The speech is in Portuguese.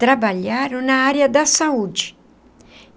Trabalharam na área da saúde.